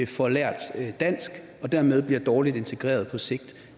får lært dansk og dermed bliver dårligt integreret på sigt